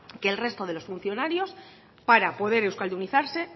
que el resto de los funcionarios para poder euskaldunizarse